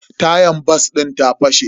Tayan bas din ta fashe.